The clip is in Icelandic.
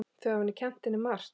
Þau hafi kennt henni margt.